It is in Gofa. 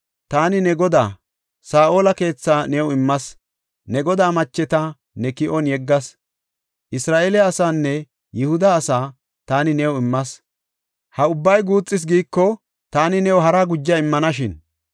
Taani ne godaa, Saa7ola keethaa new immas; ne godaa macheta ne ki7on yeggas. Isra7eele asaanne Yihuda asaa taani new immas. Ha ubbay guuxis giiko, taani new haraa guja immanashin.